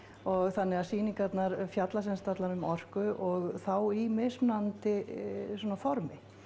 þannig að sýningarnar fjalla sem sagt allar um orku og þá í mismunandi svona formi